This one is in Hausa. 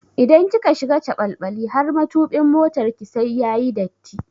Idan kika shiga caɓalɓali har matubin motarki sai yayi datti.